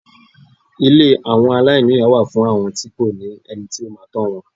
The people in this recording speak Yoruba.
Ilé àwọn aláìníyà wà fún àwọn tí kò ní ẹni tó máa tọ́ wọn.